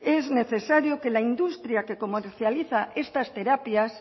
es necesario que la industria que comercializa estas terapias